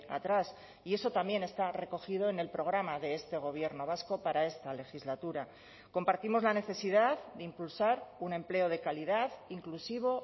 atrás y eso también está recogido en el programa de este gobierno vasco para esta legislatura compartimos la necesidad de impulsar un empleo de calidad inclusivo